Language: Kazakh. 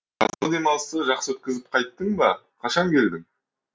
жазғы демалысты жақсы өткізіп қайттың ба қашан келдің